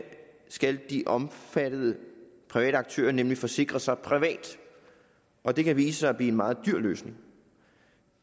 skal de omfattede private aktører nemlig forsikre sig privat og det kan vise sig at blive en meget dyr løsning